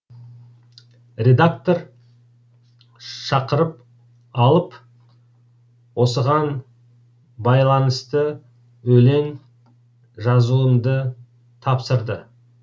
редактор шақырып алып осыған байланысты өлең жазуымды тапсырды